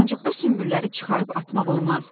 Ancaq bu sümbülləri çıxarıb atmaq olmaz.